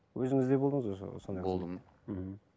өзіңіз де болдыңыз ғой болдым мхм